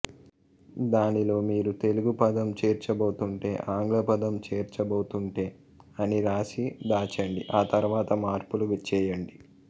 దానిలో మీరు తెలుగు పదం చేర్చబోతుంటే ఆంగ్ల పదం చేర్చబోతుంటే అని రాసి దాచండి ఆ తరువాత మార్పులు చేయండి